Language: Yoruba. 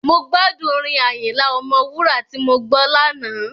Mo gbádùn orin Àyìnlà Ọmọwúrà tí mo gbọ́ lánàá.